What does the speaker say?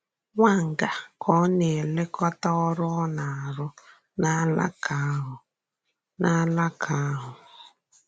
Wanger ka ò na-elekòtà ọ̀rụ́ a na-arụ̀ n’álàkà ahụ. na-arụ̀ n’álàkà ahụ.